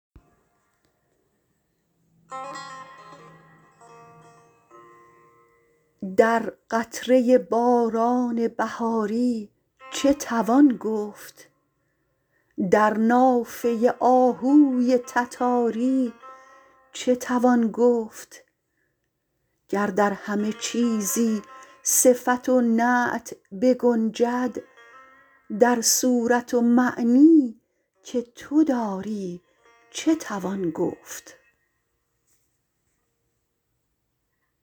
در قطره باران بهاری چه توان گفت در نافه آهوی تتاری چه توان گفت گر در همه چیزی صفت و نعت بگنجد در صورت و معنی که تو داری چه توان گفت